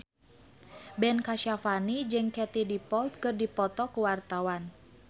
Ben Kasyafani jeung Katie Dippold keur dipoto ku wartawan